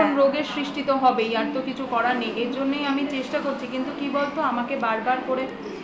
তখন রোগের সৃষ্টি তো হবেই আর তো কিছু করার নেই এর জন্যই আমি চেষ্টা করছি কিন্তু কি বলত আমাকে বার বার করে